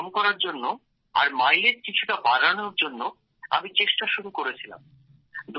নিঃসরণ কম করার জন্য আর মাইলেজ কিছুটা বাড়ানোর জন্য আমি চেষ্টা শুরু করেছিলাম